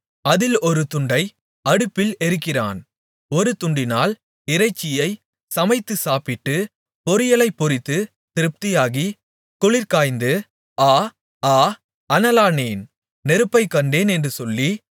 அதில் ஒரு துண்டை அடுப்பில் எரிக்கிறான் ஒரு துண்டினால் இறைச்சியைச் சமைத்து சாப்பிட்டு பொரியலைப் பொரித்து திருப்தியாகி குளிருங்காய்ந்து ஆஆ அனலானேன் நெருப்பைக் கண்டேன் என்று சொல்லி